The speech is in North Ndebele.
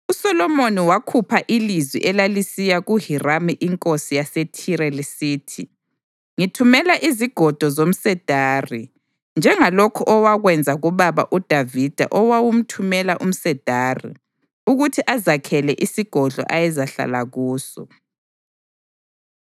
USolomoni wakhupha ilizwi elalisiya kuHiramu inkosi yaseThire lisithi: “Ngithumela izigodo zomsedari njengalokhu owakwenza kubaba uDavida owawumthumela umsedari ukuthi azakhele isigodlo ayezahlala kuso.